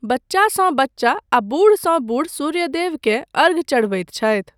बच्चासँ बच्चा आ बूढ़सँ बूढ़ सूर्यदेवकेँ अर्घ्य चढ़बैत छथि।